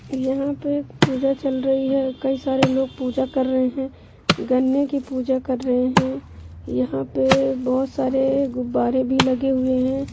यहाँ पे पूजा चल रही है कई सारे लोग पूजा कर रहे हैं| गन्ने की पूजा कर रहे हैं| यहाँ पे बहुत सारे गुब्बारे भी लगे हुए हैं।